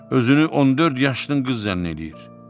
Özünü 14 yaşlı qız zənn eləyir.